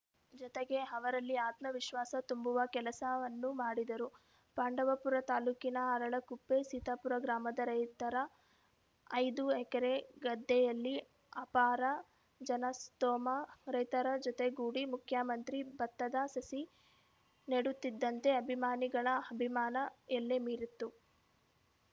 ಜತೆಗೆ ಅವರಲ್ಲಿ ಆತ್ಮವಿಶ್ವಾಸ ತುಂಬುವ ಕೆಲಸವನ್ನೂ ಮಾಡಿದರು ಪಾಂಡವಪುರ ತಾಲೂಕಿನ ಅರಳಕುಪ್ಪೆಸೀತಾಪುರ ಗ್ರಾಮದ ರೈತರ ಐದು ಎಕರೆ ಗದ್ದೆಯಲ್ಲಿ ಅಪಾರ ಜನಸ್ತೋಮ ರೈತರ ಜೊತೆಗೂಡಿ ಮುಖ್ಯಮಂತ್ರಿ ಭತ್ತದ ಸಸಿ ನೆಡುತ್ತಿದ್ದಂತೆ ಅಭಿಮಾನಿಗಳ ಅಭಿಮಾನ ಎಲ್ಲೆಮೀರಿತ್ತು